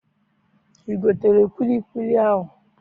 I gotere kwilikwili ahụ?